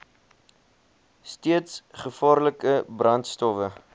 steeds gevaarlike brandstowwe